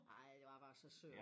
Ej de var bare så søde